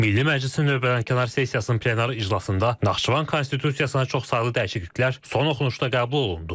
Milli Məclisin növbədənkənar sessiyasının plenar iclasında Naxçıvan Konstitusiyasına çoxsaylı dəyişikliklər son oxunuşda qəbul olundu.